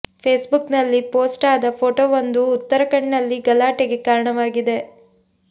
Facebook ನಲ್ಲಿ post ಆದ ಫೋಟೋವೊಂದು ಉತ್ತರಖಂಡ್ ನಲ್ಲಿ ಗಲಾಟೆಗೆ ಕಾರಣವಾಗಿದೆ